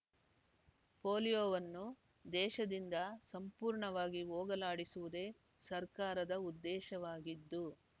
ಪೋಲಿಯೋವನ್ನು ದೇಶದಿಂದ ಸಂಪೂರ್ಣವಾಗಿ ಹೋಗಲಾಡಿಸುವುದೇ ಸರ್ಕಾರದ ಉದ್ದೇಶವಾಗಿದ್ದು